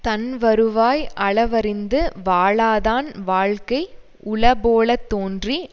தன்வருவாய் அளவறிந்து வாழாதான் வாழ்க்கை உளபோல தோன்றி